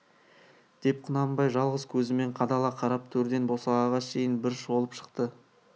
деп құнанбай жалғыз көзімен қадала қарап төрден босағаға шейін бір шолып шықты